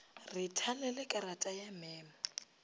re thalele karata ya memo